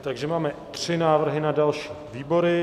Takže máme tři návrhy na další výbory.